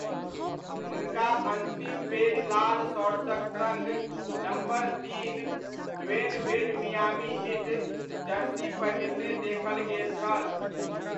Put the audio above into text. हुनका अन्तिम बेरि लाल शॉर्ट्सक सङ्ग नम्बर तीन Dwyane Wade Miami Heat jersey पहिरने देखल गेल छल।